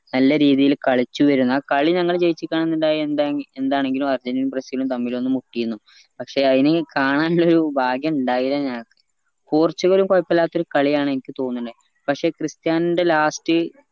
നല്ല രീതിയിൽ കളിച്ചു വരുന്ന കളി ഞങ്ങള് ജയിച്ചേക്കണ ഇണ്ടായ എന്താ എന്താണെങ്കിലും അർജന്റീനേം ബ്രസിലും ഒന്ന് മുട്ടീനു പഷേ അയിന് കാണാനുള്ളൊരു ഭാഗ്യം ഇണ്ടായില്ല ഞങ്ങക്ക് പോർച്ചുഗലും കൊയപ്പുള്ളതൊരു കളിയാണ് എനിക്ക് തോന്നണേ പക്ഷെ ക്രിസ്ത്യാനോന്റെ last